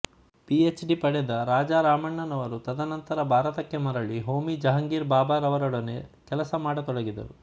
P H D ಪಡೆದ ರಾಜಾರಾಮಣ್ಣನವರು ತದನಂತರ ಭಾರತಕ್ಕೆ ಮರಳಿ ಹೋಮಿ ಜಹಂಗೀರ್ ಭಾಬಾರವರೊಡನೆ ಕೆಲಸ ಮಾಡತೊಡಗಿದರು